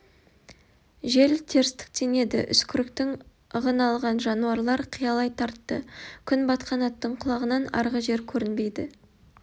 жел терістіктен еді үскіріктің ығын алған жануарлар қиялай тартты күн батқан аттың құлағынан арғы жер көрінбейді